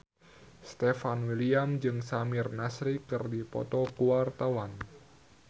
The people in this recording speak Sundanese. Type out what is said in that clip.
Stefan William jeung Samir Nasri keur dipoto ku wartawan